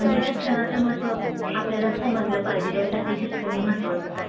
म्हणजे शिक्षणाचं महत्त्व आपल्याला समजलं पाहिजे यासाठी शिक्षण हे महत्त्वाचंच आहे.